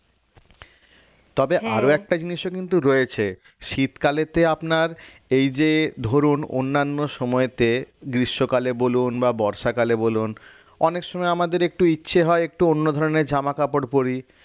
তবে আরও একটা জিনিসও কিন্তু রয়েছে শীতকালেতে আপনার এইযে ধরুন অন্যান্য সময়তে গ্রীষ্মকালে বলুন বা বর্ষাকালে বলুন অনেক সময় আমাদের একটু ইচ্ছে হয় একটু অন্য ধরণের জামা কাপড় পড়ি